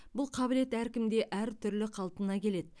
бұл қабілет әркімде әртүрлі қалпына келеді